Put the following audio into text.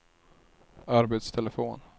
arbetstelefon